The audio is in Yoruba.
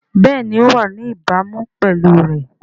Bẹ́ẹ̀ni ó wà ní ìbámu pẹ̀lú rẹ̀